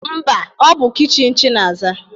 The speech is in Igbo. Mba, ọ bụ kichin Chinasa